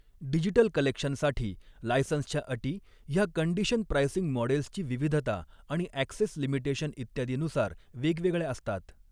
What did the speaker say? Digital कलेक्शनसाठी लायसन्सच्या अटी ह्या कंडिशन प्राइसिंग मॉडेल्सची विविधता आणि ऍक्सेस लिमिटेशन इत्यादीनुसार वेगवॆगळ्या असतात.